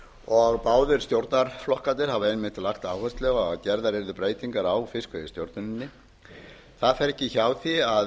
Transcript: og báðir stjórnarflokkarnir hafa einmitt lagt áherslu á að verðar verði breytingar á fiskveiðistjórninni það fer ekki hjá því að